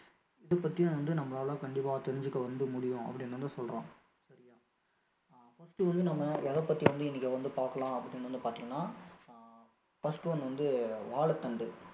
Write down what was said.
அதைப்பத்தி வந்து நம்மளால கண்டிப்பா தெரிஞ்சுக்க வந்து முடியும் அப்படின்னு வந்து சொல்றோம் சரியா first வந்து நம்ம எதைப்பத்தி வந்து இன்னைக்கு வந்து பாக்கலாம் அப்படின்னு வந்து பாத்தீங்கன்னா அஹ் first one வந்து வாழைத்தண்டு